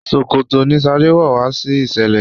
ṣòkòtò ní shade wọ wá sí iṣẹlẹ